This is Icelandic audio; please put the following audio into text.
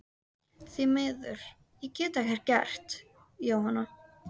Því miður, ég get ekkert gert, Jóhanna.